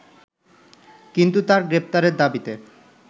কিন্তু তার গ্রেপ্তারের দাবিতে